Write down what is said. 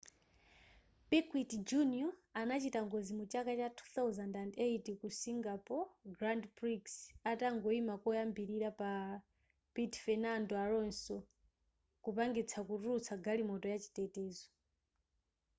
piquet jr anachita ngozi muchaka cha 2008 ku singapore grand prix atangoyima koyambilira pa piti fenando alonso kupangitsa kutulutsa galimoto yachitetezo